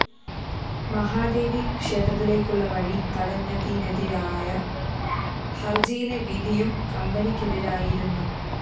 മഹാദേവി ക്ഷേത്രത്തിലേക്കുള്ള വഴി തടഞ്ഞതിനെതിരായ ഹര്‍ജിയിലെ വിധിയും കമ്പനിക്കെതിരായിരുന്നു